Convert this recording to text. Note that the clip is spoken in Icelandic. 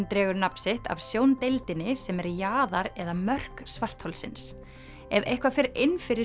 dregur nafn sitt af sjóndeildinni sem er jaðar eða mörk svartholsins ef eitthvað fer inn fyrir